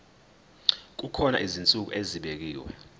kukhona izinsuku ezibekiwe